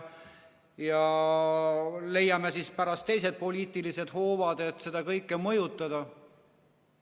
Siis leiame pärast teised poliitilised hoovad, et seda kõike mõjutada?